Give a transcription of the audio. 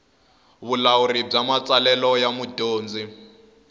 vulawuri bya matsalelo ya mudyondzi